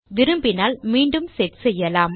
விரும்பினால் மீண்டும் செட் செய்யலாம்